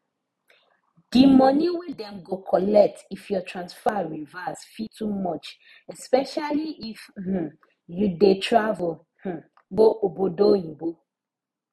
di money wey dem go collect if your transfer reverse fit too much especially if um you dey travel um go obodo oyinbo